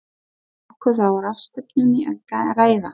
Var nokkuð á ráðstefnunni að græða?